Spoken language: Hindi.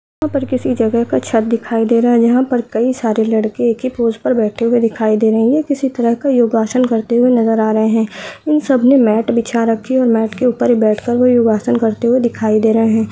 यहाँ पर किसी जगह का छत दिखाई दे रहा है यहां पर कई सारे लड़के ही पोज़ पर बैठे हुए दिखाई दे रहे है ये किसी तरह का योगा आसन करते हुए नज़र आ रहे है इन सब ने मेट बिछा रखी है और मेट के ऊपर बेठ के ये योगा आसन करते हुए दिखाई दे रहे है।